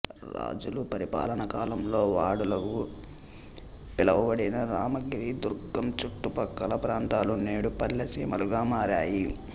రాజుల పరిపాలనాకాలంలో వాడలుగా పిలువబడిన రామగిరి దుర్గం చుట్టుపక్కల ప్రాంతాలు నేడు పల్లె సీమలుగా మారాయి